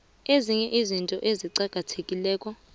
ezinye izinto eziqakathekileko